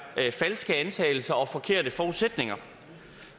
falske antagelser og forkerte forudsætninger